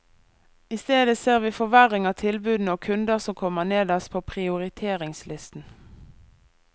I stedet ser vi forverring av tilbudene og kunder som kommer nederst på prioriteringslisten.